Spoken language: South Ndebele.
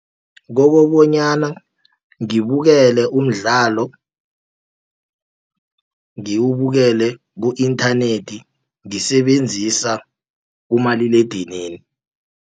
Kobobonyana ngibukele umdlalo, ngiwubukele ku-inthanethi ngisebenzisa umaliledinini.